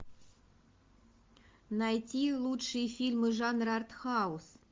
найти лучшие фильмы жанра артхаус